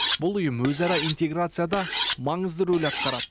бұл ұйым өзара интеграцияда маңызды рөл атқарады